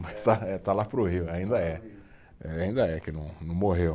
Mas eh, está lá para o Rio, ainda é. Ainda é que não, não morreu.